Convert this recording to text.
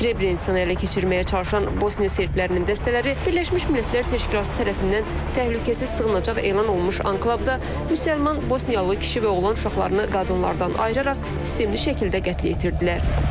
Srebrenitsanı ələ keçirməyə çalışan Bosniya serblərinin dəstələri Birləşmiş Millətlər Təşkilatı tərəfindən təhlükəsiz sığınacaq elan olunmuş anklavda müsəlman Bosniyalı kişi və oğlan uşaqlarını qadınlardan ayıraraq sistemli şəkildə qətlə yetirdilər.